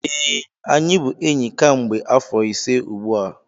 ee, anyị bụ enyi kemgbe afọ ise ugbu a